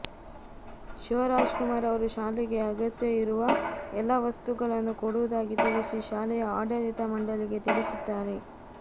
ಶಿವರಾಜಕುಮಾರ್ ಅವರು ಶಾಲೆಗೆ ಅಗತ್ಯ ಇರುವ ಎಲ್ಲಾ ವಸ್ತುಗಳನ್ನು ಕೊಡುವುದಾಗಿ ತಿಳಿಸಿ ಶಾಲೆಯ ಆಡಳಿತ ಮಂಡಳಿಗೆ ತಿಳಿಸಿದ್ದಾರೆ